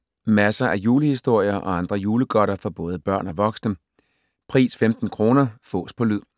Masser af julehistorier og andre julegodter for både børn og voksne. Pris 15 kr. Fås på lyd.